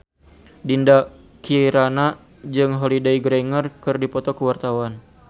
Dinda Kirana jeung Holliday Grainger keur dipoto ku wartawan